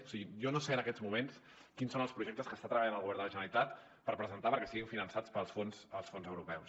o sigui jo no sé en aquests moments quins són els projectes en què està treballant el govern de la generalitat per presentar perquè siguin finançats pels fons europeus